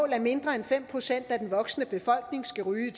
at mindre end fem procent af den voksne befolkning skal ryge i